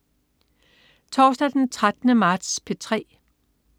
Torsdag den 13. marts - P3: